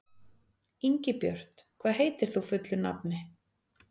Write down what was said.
Ingibjört, hvað heitir þú fullu nafni?